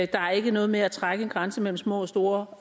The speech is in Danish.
der er ikke noget med at trække en grænse mellem små og store